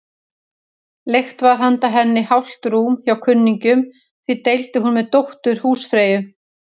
Leigt var handa henni hálft rúm hjá kunningjum, því deildi hún með dóttur húsfreyju.